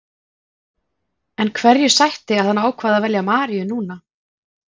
En hverju sætti að hann ákvað að velja Maríu núna?